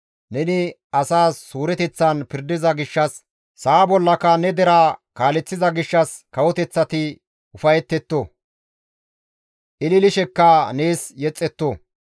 Neni asas suureteththan pirdiza gishshas sa7a bollaka ne deraa kaaleththiza gishshas kawoteththati ufayetetto; ililishekka nees yexxetto.